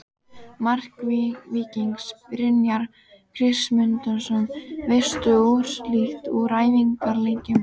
Mark Víkings: Brynjar Kristmundsson Veistu úrslit úr æfingaleikjum?